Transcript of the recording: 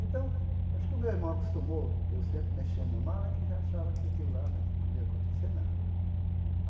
Então, acho que o meu irmão acostumou, eu sempre mexendo na mala, que já achava que aquilo lá né não ia acontecer nada.